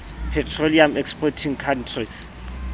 petroleum exporting countries